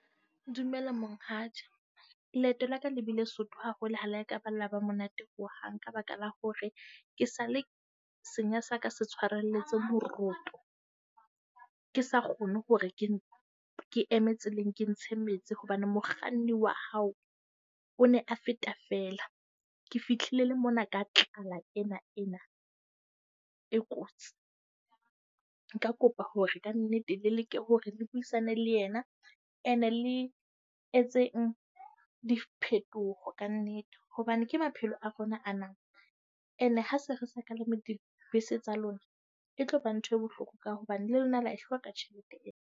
Dumela monghadi. Leeto la ka le bile soto haholo ha la ka la ba monate ho hang ka baka la hore ke sale senya sa ka se tshwarelletse moroto. Ke sa kgone hore ke ke eme tseleng ke ntshe metsi hobane mokganni wa hao o ne a feta fela. Ke fihlile le mona ka tlala ena ena e kotsi. Nka kopa hore kannete le leke hore le buisane le yena. Ene le etseng diphetoho ka nnete, hobane ke maphelo a rona a na. Ene ha se re sa ka le dibese tsa lona, e tloba ntho e bohloko ka hobane le lona la e hloka tjhelete eo.